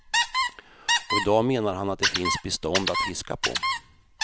Och i dag menar han att det finns bestånd att fiska på.